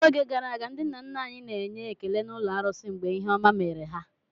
N'oge gara aga, ndị nna nna anyị na-enye ekele n'ụlọ arusi mgbe ihe ọma mere ha.